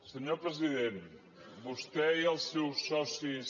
senyor president vostè i els seus socis